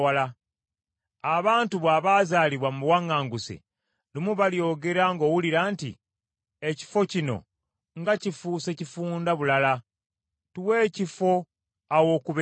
Abantu bo abazaalibwa mu buwaŋŋanguse lumu balyogera ng’owulira nti, ‘Ekifo kino nga kifuuse kifunda bulala; tuwe ekifo aw’okubeera.’